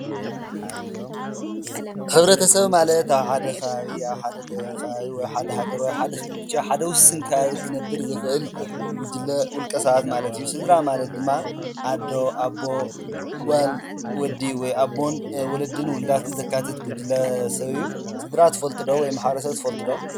ሕብረተሰብ ማለት ኣብ ሓደ ከባቢ ወይ ኣብ ሓደ ከባቢ ሓደ ሃገር ሕደ ክልል ዉሱን ቦታ ክነብር ዝክእል ጉጅለ ዉልቀ ሰብ ማለት አዩ። ስድራ ማለት ድማ ኣዶ፣ ኣቦ፣ ጓል፣ ወዲ ወይ ኣቦን ወለድን ዉሉዳት ዘካትት ጉጅለ ሰብ አዩ። ስድራ ትፍልጡ ዶ? ወይም ማሕበረሰብ ትፈልጡ ዶ?